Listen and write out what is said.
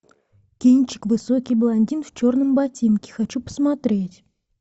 кинчик высокий блондин в черном ботинке хочу посмотреть